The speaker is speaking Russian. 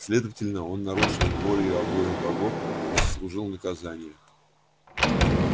следовательно он нарушил волю обоих богов и заслужил наказание